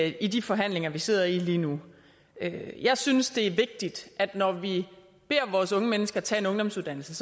i de forhandlinger vi sidder i lige nu jeg synes det er vigtigt når vi beder vores unge mennesker tage en ungdomsuddannelse